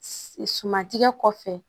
Suman tigɛ kɔfɛ